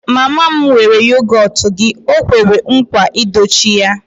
Mama m weere yogọt gị, o kwere nkwa I dochie ya